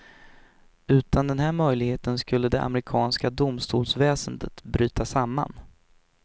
Utan den här möjligheten skulle det amerikanska domstolsväsendet bryta samman.